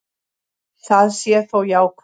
Það sé þó jákvætt.